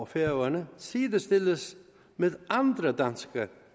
færøerne sidestilles med andre danske